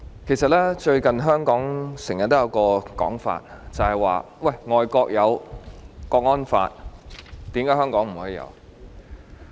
主席，最近香港經常有一種說法，說外國有國安法，為何香港不可以有？